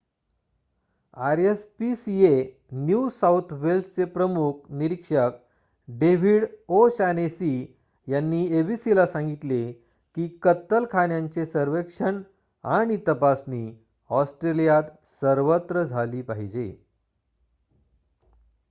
RSPCA New South वेल्सचे प्रमुख निरीक्षक डेविड ओ' शानेसी यांनी एबीसीला सांगितले की कत्तलखान्यांचे सर्वेक्षण आणि तपासणी ऑस्ट्रेलियात सर्वत्र झाली पाहिजे